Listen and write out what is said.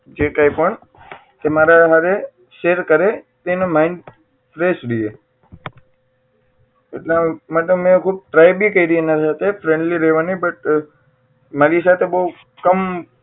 જે કઈ પણ કે મારા હારે share કરે તો એનું mind fresh રહે એટલા માટે મેં ખુબ try પણ કરી એના સાથે friendly રહેવાની બટ પણ મારી સાથે બહુ કમ